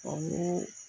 Ɔ n ko